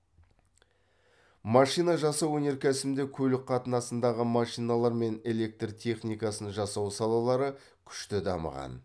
машина жасау өнеркәсібінде көлік қатынасындағы машиналар мен электр техникасын жасау салалары күшті дамыған